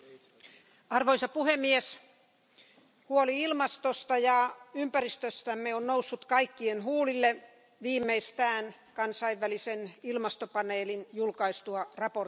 Arvoisa puhemies, huoli ilmastosta ja ympäristöstämme on noussut kaikkien huulille viimeistään kansainvälisen ilmastopaneelin julkaistua raporttinsa.